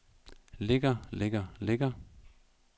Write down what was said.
ligger ligger ligger